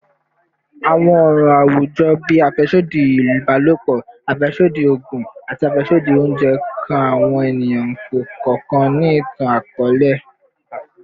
Awọn ọran awujọ bii afẹsodi ibalopọ, afẹsodi oogun, ati afẹsodi ounjẹ kan awọn eniyan kọọkan ni itan-akọọlẹ